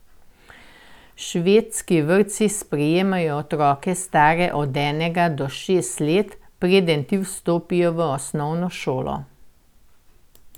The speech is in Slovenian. Švedski vrtci sprejmejo otroke stare od enega do šest let, preden ti vstopijo v osnovno šolo.